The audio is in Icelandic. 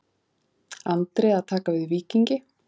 Andri að taka við Víkingi